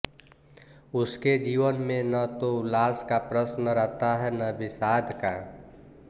उसके जीवन में न तो उल्लास का प्रश्न रहता है न विषाद का